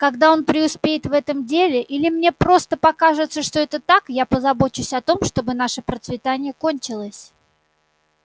когда он преуспеет в этом деле или мне просто покажется что это так я позабочусь о том чтобы наше процветание кончилось